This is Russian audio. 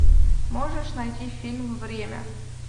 можешь найти фильм время